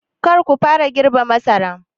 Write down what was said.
Kar ku fara girbe masaran!